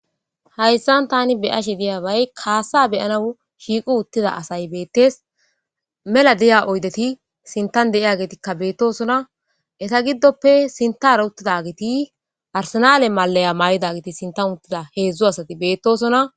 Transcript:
Hayssan tani beai'she diyyabay kasa be'anawu shiiqqi uutida assay bettes mela diya oyddeti sinttan deiyage bettossona eeta giddope sinththera uttidageti arsenal maliya mayidageti sintan uttida heezhzhu asati bettossona.